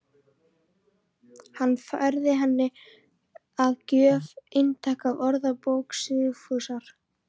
Hann færði henni að gjöf eintak af Orðabók Sigfúsar